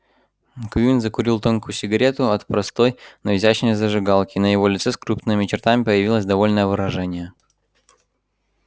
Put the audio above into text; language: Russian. куинн закурил тонкую сигарету от простой но изящной зажигалки и на его лице с крупными чертами появилось довольное выражение